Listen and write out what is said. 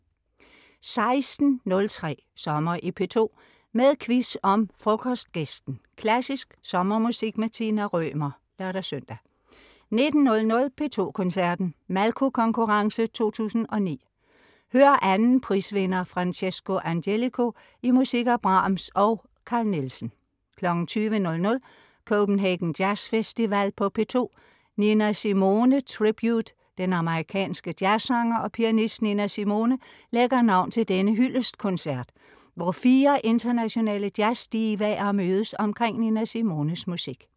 16.03 Sommer i P2, med quiz om Frokostgæsten. Klassisk sommermusik med Tina Rømer (lør-søn) 19.00. P2 Koncerten, Malko Konkurrence 2009. Hør 2. prisvinder Francesco Angelico i musik af Brahms og Carl Nielsen 20.00 Copenhagen Jazz Festival på P2. Nina Simone Tribute. Den amerikanske jazzsanger og pianist Nina Simone lægger navn til denne hyldestkoncert, hvor fire internationale jazzdivaer mødes omkring Nina Simones musik